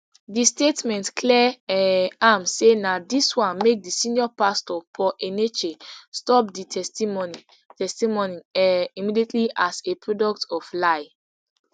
di statement clear um am say na dis one make di senior paastor paul enenche stop di testimony testimony um immediately as a product of lie